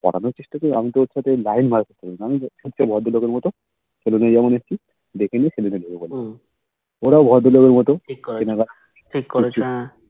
পটানোর চেষ্টা করিনি আমি তো ওর সাথে Line মারিনি ভদ্র লোকের মতো যেমন এসেছি দেখে গেছি ওরাও ভদ্রলোকের মতো